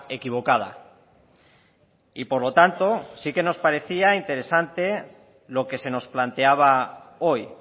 equivocada y por lo tanto sí que nos parecía interesante lo que se nos planteaba hoy